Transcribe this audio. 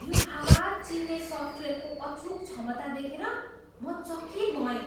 यो आवाज चिन्ने सफ्टवेयरको अचूक क्षमता देखेर म चकित भएँ।